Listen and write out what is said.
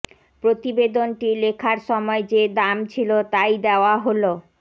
প্রতিবেদনটি লেখার সময় যে দাম ছিল তাই দেওয়া হল